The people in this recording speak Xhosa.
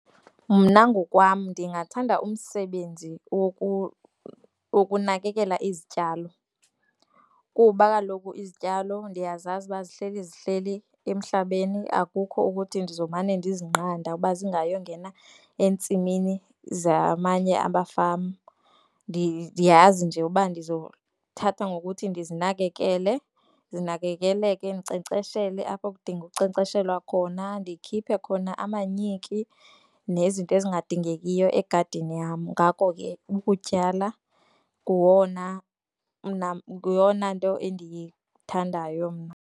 Mna ngokwam ndingathanda umsebenzi wokunakekela izityalo, kuba kaloku izityalo ndiyazazi uba zihleli zihleli emhlabeni akukho ukuthi ndizomane ndizinqanda ukuba zingayo ngena entsimini zamanye abafama. Ndiyazi nje uba ndizothatha ngokuthi ndizinakekele, zinakekeleke, ndinkcenkceshele apho kudinga ukunkcenkceshelwa khona ndikhiphe khona amanyiki nezinto ezingadingekiyo egadini yam. Ngako ke ukutyala nguwona yiyona nto endiyithandayo mna.